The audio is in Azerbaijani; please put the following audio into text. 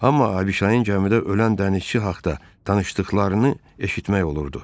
Amma Abişayın gəmidə ölən dənizçi haqda danışdıqlarını eşitmək olurdu.